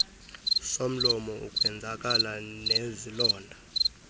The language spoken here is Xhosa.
somlomo ukwenzakala nezilonda